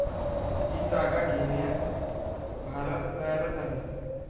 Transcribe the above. ही जागा घेण्यास भारत तयारच आहे.